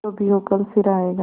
जो भी हो कल फिर आएगा